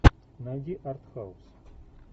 найди артхаус